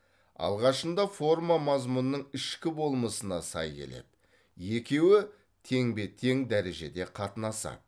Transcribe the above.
алғашында форма мазмұнның ішкі болмысына сай келеді екеуі теңбе тең дәрежеде қатынасады